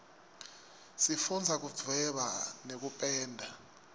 sifundza kudvweba nekupenda